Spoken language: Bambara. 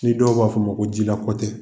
Ni dɔw b'a fɔ ma ko jila kɔtɛ